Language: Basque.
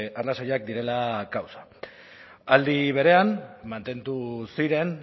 arrazoiak direla kausa aldi berean mantendu ziren